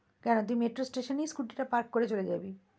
কেন? তুই metro station এই scooty টা park করে চলে যাবি,